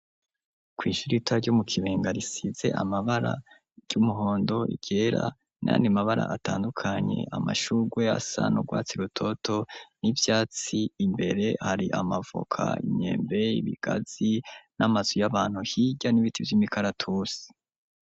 Kw'ishurita ryo mu kibenga risize amabara ry'umuhondo igera nani mabara atandukanye amashugwe y'asanaurwatsi rutoto n'ivyatsi imbere hari amavoka inyembee ibigazi n'amazu y'abantu hirya n'ibiti vy'imikaratusi.